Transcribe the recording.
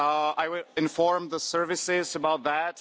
I will inform the services about that.